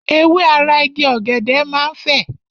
Ewé ara Igi ọ̀gẹ̀dẹ̀ máa ń fè.